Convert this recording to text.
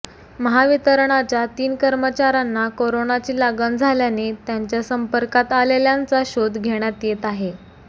महावितरणच्या तीन कर्मचाऱ्यांना कोरोनाची लागण झाल्याने त्यांच्या संपर्कात आलेल्यांचा शोध घेण्यात येत आहे